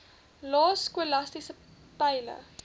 lae skolastiese peile